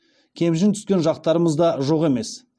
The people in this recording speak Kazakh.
кемшін түскен жақтарымыз да жоқ емес